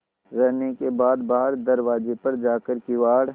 रहने के बाद बाहर दरवाजे पर जाकर किवाड़